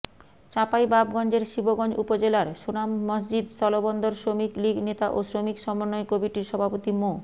চাঁপাইনবাবগঞ্জের শিবগঞ্জ উপজেলার সোনামসজিদ স্থলবন্দর শ্রমিক লীগ নেতা ও শ্রমিক সমন্বয় কমিটির সভাপতি মো